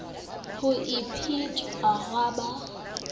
ha e phethwe ha ba